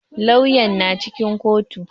Lauyan na cikin kotu.